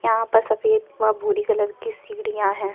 यहाँ पर सफेद व भूरी कलर की सीढ़ियाँ हैं।